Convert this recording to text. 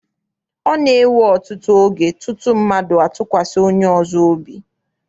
Ọ na-ewe ọtụtụ oge tutu mmadụ atụkwasị onye ọzọ obi.